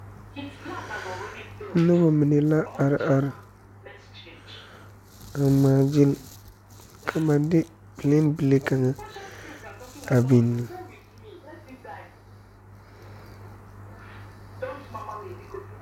Noba mine la a are are a ŋmaa gyili ka ba de plane bile kaŋa a biŋ.